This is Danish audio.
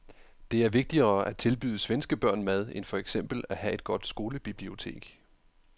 Det er vigtigere at tilbyde svenske børn mad end for eksempel at have et godt skolebibliotek.